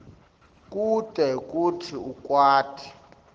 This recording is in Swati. kute kutsi ukwati